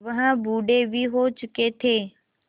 वह बूढ़े भी हो चुके थे